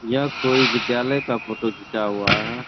यह कोई विद्यालय का फोटो घीचा हुआ है।